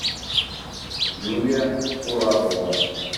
юлия курапова